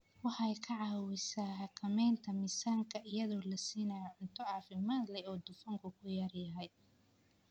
Waxay ka caawisaa xakamaynta miisaanka iyadoo la siinayo cunto caafimaad leh oo dufanku ku yar yahay.